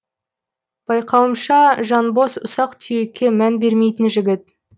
байқауымша жанбоз ұсақ түйекке мән бермейтін жігіт